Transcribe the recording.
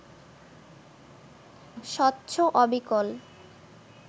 স্বচ্ছ অবিকল